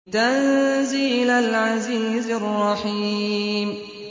تَنزِيلَ الْعَزِيزِ الرَّحِيمِ